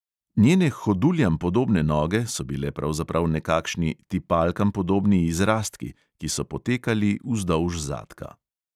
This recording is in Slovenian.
Njene hoduljam podobne noge so bile pravzaprav nekakšni tipalkam podobni izrastki, ki so potekali vzdolž zadka.